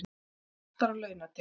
Skattar á launatekjur